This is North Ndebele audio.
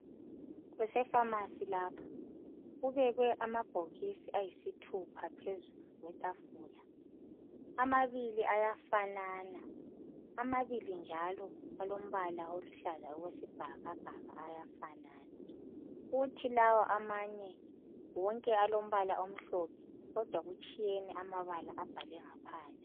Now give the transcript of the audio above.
Kusefsmasi lapha kubekwe amabhokisi ayisithupha phezulu kwetafula. Amabili ayafanana amabili njalo aluhlaza okwesibhakabhaka ayafanana kuthi lawa amanye wonke alompala omhlophe kodwa kutshiyene amabala abhalwe ngaphandle.